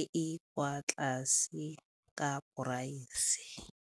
e e kwa tlase ka price.